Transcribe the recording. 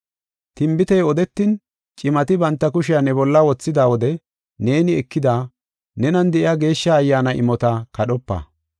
Tinbitey odetin, cimati banta kushiya ne bolla wothida wode neeni ekida, nenan de7iya Geeshsha Ayyaana imota kadhopa.